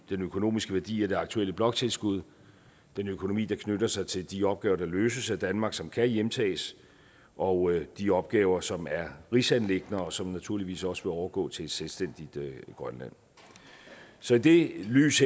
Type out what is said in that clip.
økonomiske værdi af det aktuelle bloktilskud den økonomi der knytter sig til de opgaver der løses af danmark som kan hjemtages og de opgaver som er rigsanliggender og som naturligvis også vil overgå til et selvstændigt grønland så i det lys